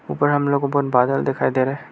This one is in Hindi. ऊपर हम लोगों को बहोत बादल दिखाई दे रहा है।